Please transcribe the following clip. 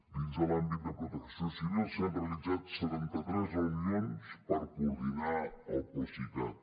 dins de l’àmbit de protecció civil s’han realitzat setanta tres reunions per coordinar el procicat